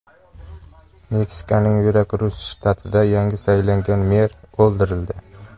Meksikaning Verakrus shtatida yangi saylangan mer o‘ldirildi.